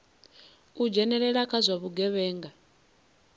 u dzhenelela kha zwa vhugevhenga